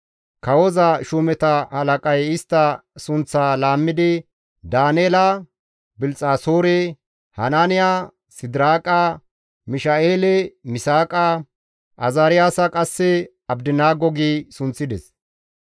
Kawoza shuumeta halaqay istta sunththaa laammidi Daaneela Bilxxasoore, Hanaaniya Sidiraaqa, Misha7eele Misaaqa, Azaariyaasa qasse Abdinaago gi sunththides.